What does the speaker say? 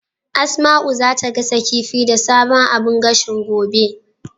Asma'u zata gasa kifi da sabon abun gashin, gobe.